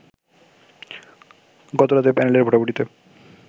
গতরাতে প্যানেলের ভোটাভুটিতে